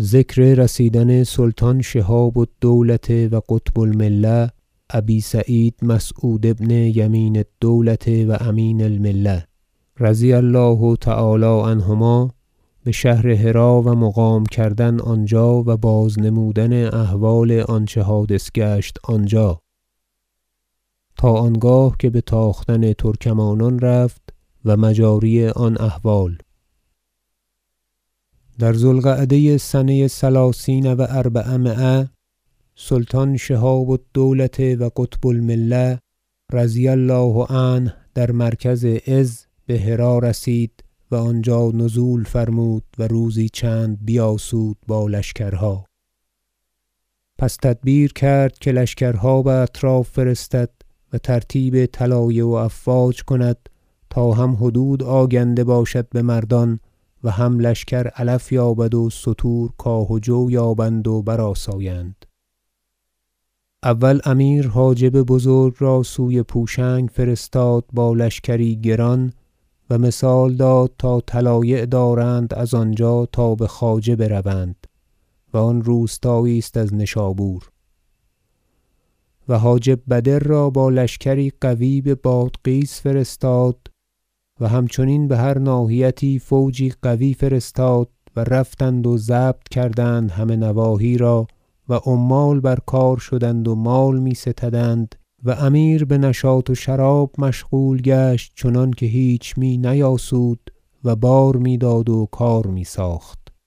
ذکر رسیدن سلطان شهاب الدوله و قطب الملة ابی سعید مسعود ابن یمین الدولة و امین الملة رضی الله تعالی عنهما بشهر هری و مقام کردن آنجا و بازنمودن احوال آنچه حادث گشت آنجا تا آنگاه که بتاختن ترکمانان رفت و مجاری آن احوال در ذو القعده سنه ثلثین و اربعمایه سلطان شهاب الدوله و قطب المله رضی الله- عنه در مرکز عز به هری رسید و آنجا نزول فرمود و روزی چند بیاسود با لشکرها پس تدبیر کرد که لشکرها باطراف فرستد و ترتیب طلایع و افواج کند تا هم حدود آگنده باشد بمردان و هم لشکر علف یابد و ستورکاه و جویابند و برآسایند اول امیر حاجب بزرگ را سوی پوشنگ فرستاد با لشکری گران و مثال داد تا طلایع دارند از آنجا تا بخواجه بروند- و آن روستایی است از نشابور- و حاجب بدر را با لشکری قوی ببادغیس فرستاد و همچنین بهر ناحیتی فوجی قوی فرستاد و رفتند و ضبط کردند همه نواحی را و عمال بر کار شدند و مال می ستدند و امیر بنشاط و شراب مشغول گشت چنانکه هیچ می نیاسود و بار میداد و کار میساخت و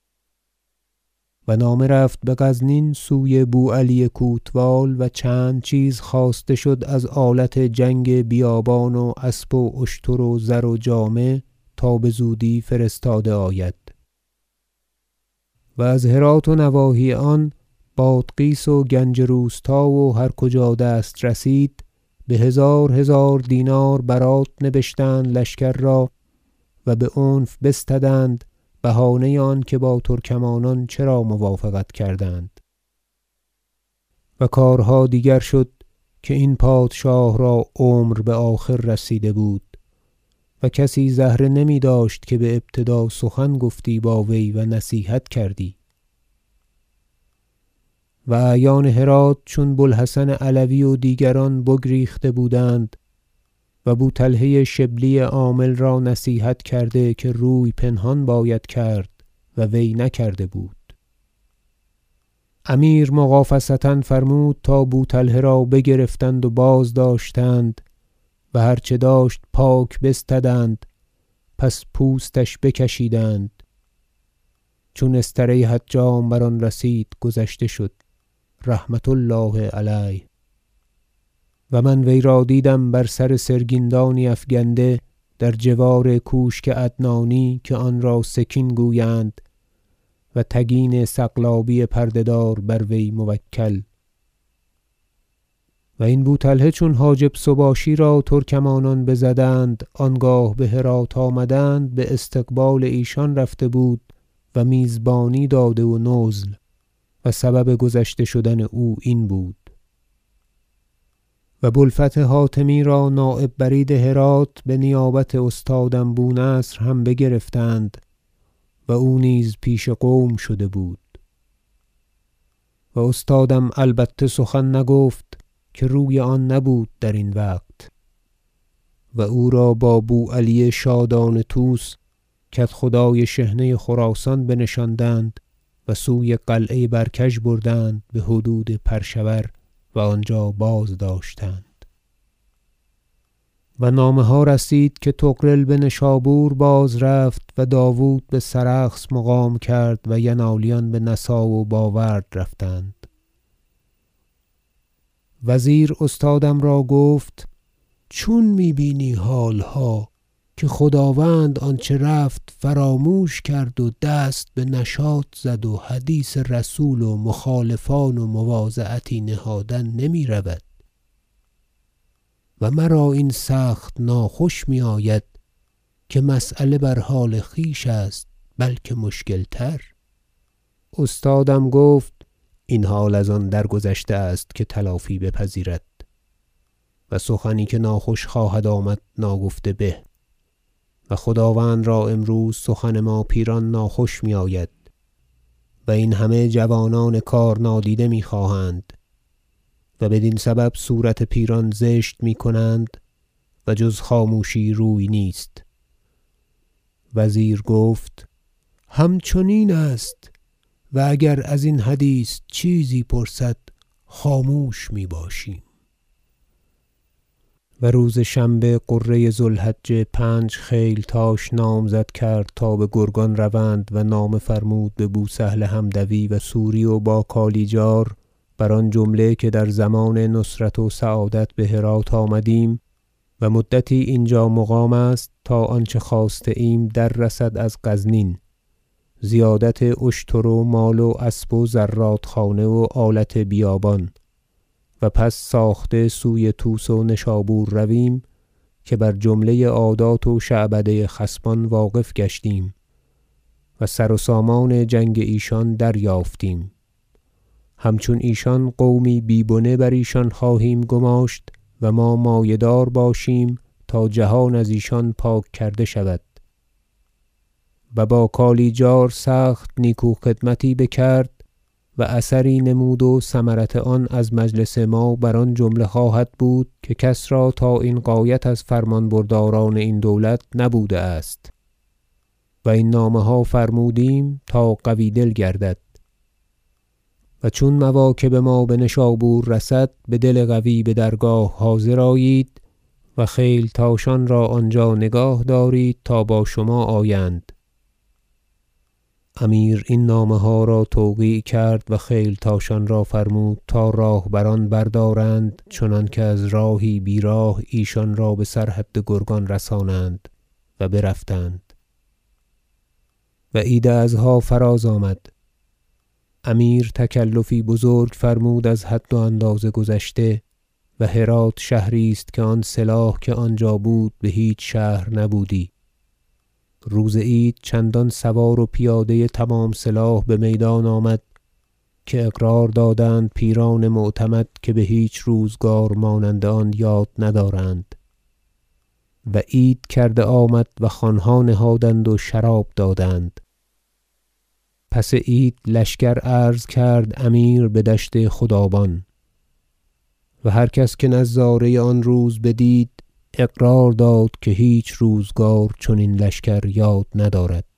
نامه رفت بغزنین سوی بو علی کوتوال و چند چیز خواسته شد از آلت جنگ بیابان و اسب و اشتر و زر و جامه تا بزودی فرستاده آید و از هرات و نواحی آن بادغیس و گنج روستا و هر کجا دست رسید بهزار هزار دینار برات نبشتند لشکر را و بعنف بستدند بهانه آنکه با ترکمانان چرا موافقت کردند و کارها دیگر شد که این پادشاه را عمر بآخر رسیده بود و کسی زهره نمیداشت که بابتدا سخت گفتی با وی و نصیحت کردی و اعیان هرات چون بو الحسن علوی و دیگران بگریخته بودند و بو طلحه شبلی عامل را نصیحت کرده که روی پنهان باید کرد و وی نکرده بود امیر مغافصه فرمود تا بو طلحه را بگرفتند و بازداشتند و هر چه داشت پاک بستدند پس پوستش بکشیدند چون استره حجام بر آن رسید گذشته شد رحمة الله علیه و من وی را دیدم بر سر سرگین دانی افگنده در جوار کوشک عدنانی که آن را سکین گویند و تگین سقلابی پرده دار بروی موکل و این بو طلحه چون حاجب سباشی را ترکمانان بزدند آنگاه بهرات آمدند باستقبال ایشان رفته بود و میزبانی داده و نزل و سبب گذشته شدن او این بود و بو الفتح حاتمی را نایب برید هرات بنیابت استادم بو نصر هم بگرفتند و او نیز پیش قوم شده بود و استادم البته سخن نگفت که روی آن نبود درین وقت و او را با بو علی شادان طوس کدخدای شحنه خراسان بنشاندند و سوی قلعه برکژ بردند بحدود پر شور و آنجا بازداشتند و نامه ها رسید که طغرل بنشابور بازرفت و داود بسرخس مقام کرد و ینالیان بنسا و باورد رفتند وزیر استادم را گفت چون می بینی حالها که خداوند آنچه رفت فراموش کرد و دست بنشاط زد و حدیث رسول و مخالفان و مواضعتی نهادن نمیرود و مرا این سخت ناخوش میآید که مسیله بر حال خویش است بلکه مشکل تر استادم گفت این حال از آن درگذشته است که تلافی بپذیرد و سخنی که ناخوش خواهد آمد ناگفته به و خداوند را امروز سخن ما پیران ناخوش میآید و این همه جوانان کار نادیده میخواهند و بدین سبب صورت پیران زشت میکنند و جز خاموشی روی نیست وزیر گفت همچنین است و اگر ازین حدیث چیزی پرسد خاموش میباشیم و روز شنبه غره ذو الحجه پنج خیلتاش نامزد کرد تا بگرگان روند و نامه فرمود ببوسهل حمدوی و سوری و باکالیجار بر آن جمله که در ضمان نصرت و سعادت بهرات آمدیم و مدتی اینجا مقام است تا آنچه خواسته ایم در رسد از غزنین زیادت اشتر و مال و اسب و زرادخانه و آلت بیابان و پس ساخته سوی طوس و نشابور رویم که بر جمله عادات و شعبده خصمان واقف گشتیم و سر و سامان جنگ ایشان دریافتیم همچون ایشان قومی بی بنه بر ایشان خواهیم گماشت و ما مایه دار باشیم تا جهان از ایشان پاک کرده شود و با کالیجار سخت نیکو خدمتی بکرد و اثری نمود و ثمرت آن از مجلس ما بر آن جمله خواهد بود که کس را تا این غایت از فرمان برداران این دولت نبوده است و این نامه ها فرمودیم تا قوی دل گردد و چون مواکب ما بنشابور رسد بدل قوی بدرگاه حاضر آیید و خیلتاشان را آنجا نگاه دارید تا با شما آیند امیر این نامه ها را توقیع کرد و خیلتاشان را فرمود تا راه بران بردارند چنانکه از راهی بیراه ایشان را بسر حد گرگان رسانند و برفتند و عید اضحی فراز آمد امیر تکلفی بزرگ فرمود از حد و اندازه گذشته و هرات شهری است که آن سلاح که آنجا بود بهیچ شهر نبودی روز عید چندان سوار و پیاده تمام سلاح بمیدان آمد که اقرار دادند پیران معتمد که بهیچ روزگار مانند آن یاد ندارند و عید کرده آمد و خوانها نهادند و شراب دادند پس عید لشکر عرض کرد امیر بدشت خدابان و هر کس که نظاره آن روز بدید اقرار داد که بهیچ روزگار چنین لشکر یاد ندارد